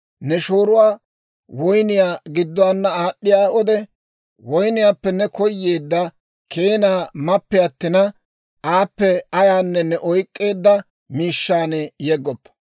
«Ne shooruwaa woyniyaa gidduwaana aad'd'iyaa wode, woyniyaappe ne koyeedda keenaa mappe attina, aappe ayaanne ne oyk'k'eedda miishshaan yeggoppa.